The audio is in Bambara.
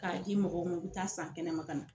K'a di mɔgɔw ma u bɛ taa san kɛnɛma ka na.